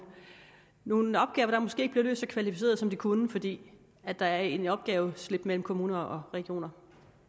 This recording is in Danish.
nogle opgaver der måske ikke bliver løst så kvalificeret som de kunne fordi der er et opgaveslip mellem kommuner og regioner